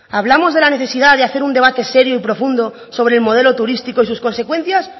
hablamos de la necesidad de hacer un debate serio y profundo sobre el modelo turístico y sus consecuencias